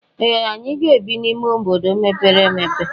Ee! Anyị ga-ebi n'ime obodo mepere emepe.